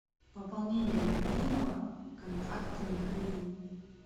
пополнение мобильного контакта михаил